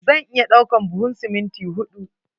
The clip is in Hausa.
Zan iya ɗaukan duhun siminti huɗu.